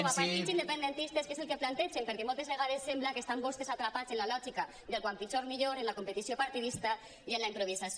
com a partits independentistes què és el que plantegen perquè moltes vegades sembla que estan vostès atrapats en la lògica del quan pitjor millor en la competició partidista i en la improvisació